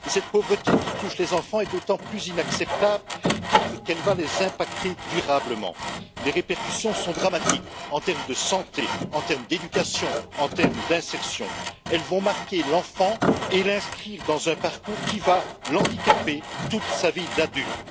Cette pauvreté qui touche les enfants est d'autant plus inacceptable qu'elle va les frapper durablement. Les répercussions sont dramatiques sur les plans de la santé, de l'éducation, de l'insertion, elles vont marquer l'enfant et l'inscrire dans un parcours qui va le handicaper durant toute sa vie d'adulte.